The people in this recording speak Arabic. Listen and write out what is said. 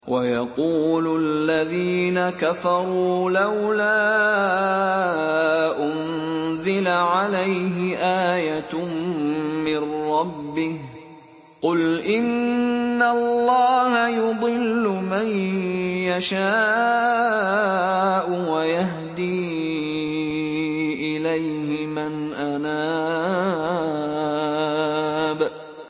وَيَقُولُ الَّذِينَ كَفَرُوا لَوْلَا أُنزِلَ عَلَيْهِ آيَةٌ مِّن رَّبِّهِ ۗ قُلْ إِنَّ اللَّهَ يُضِلُّ مَن يَشَاءُ وَيَهْدِي إِلَيْهِ مَنْ أَنَابَ